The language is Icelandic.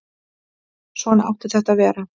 Svona átti þetta að vera.